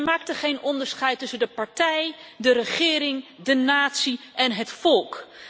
Zij maakte geen onderscheid tussen de partij, de regering, de natie en het volk.